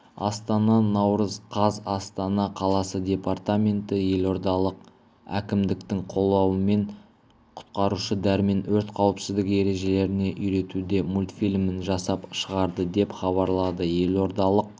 астана наурыз қаз астана қаласы департаменті елордалық әкімдіктің қолдауымен құтқарушы дәрмен өрт қауіпсіздігі ережелеріне үйретуде мультфильмін жасап шығарды деп хабарлады елордалық